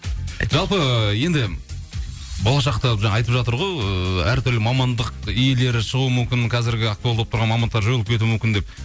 жалпы енді болашақта жаңа айтып жатыр ғой ыыы әр түрлі мамандық иелері шығуы мүмкін қазіргі актуалды болып тұрған мамандықтар жойылып кетуі мүмкін деп